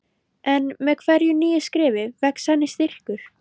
En með hverju nýju skrefi vex henni styrkur.